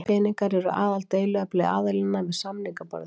Peningar eru aðaldeiluefni aðilanna við samningaborðið